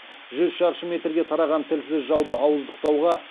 жүз шаршы метрге тараған тілсіз жауды ауыздықтауға